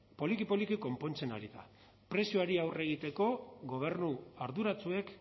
poliki poliki konpontzen ari da prezioari aurre egiteko gobernu arduratsuek